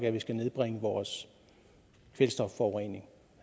at vi skal nedbringe vores kvælstofforurening